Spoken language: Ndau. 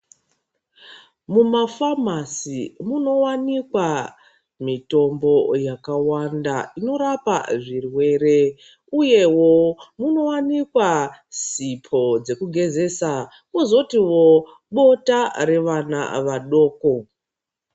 Mumafamasi munowanikwa mitombo yakawanda inorapa zvirwere uyewo munowanikwa sipo dzekugezesa kwozotiwo bota revana vadoko.